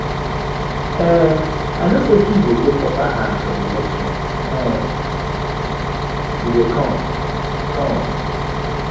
um i know say he go get upper hand for the election um wey dey come come